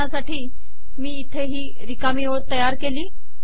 उदाहरणासाठी मी इथे ही रिकामी ओळ तयार केली